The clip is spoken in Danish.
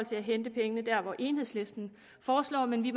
til at hente pengene der hvor enhedslisten foreslår men vi